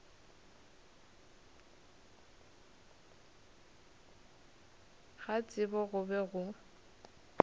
ga tsebo go be go